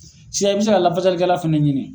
i bɛ se ka lafasalikɛla fana ɲini.